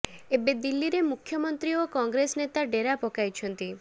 ଏବେ ଦିଲ୍ଲୀରେ ମୁଖ୍ୟମନ୍ତ୍ରୀ ଓ କଂଗ୍ରେସ ନେତା ଡେରା ପକାଇଛନ୍ତି